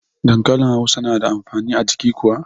Dankanli hausa na da amfani a jiki kuwa?